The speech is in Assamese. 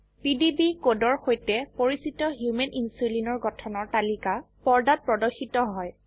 পিডিবি কোডৰ সৈতে পৰিচিত হোমান ইনচুলিন এৰ গঠনৰ তালিকা পৰ্দাত প্ৰদৰ্শিত হয়